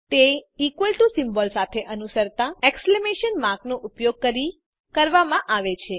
તે equal to symbol સાથે અનુસરતા એક્સક્લેમેશન માર્ક નો ઉપયોગ કરીને કરવામાં આવે છે